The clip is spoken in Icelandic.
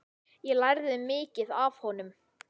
Ég lærði mikið af honum.